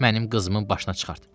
Mənim qızımın başına çıxart.